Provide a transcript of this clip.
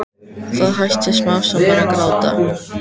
Það hætti smám saman að gráta.